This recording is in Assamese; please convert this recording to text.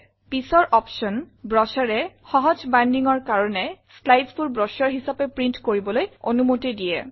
পিছৰ অপশ্যন Brochureএ সহজ bindingৰ কাৰণে slidesবোৰ ব্ৰচুৰে হিচাপে প্ৰিণ্ট কৰিবলৈ অনুমতি দিয়ে